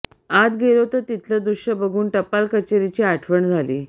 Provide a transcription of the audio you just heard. आत गेलो तर तिथल दृष्य बघून टपाल कचेरीची आठवण झाली